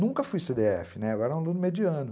Nunca fui cê dê efe, né, eu era um aluno mediano.